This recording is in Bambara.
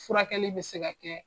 Furakɛli bɛ se ka kɛ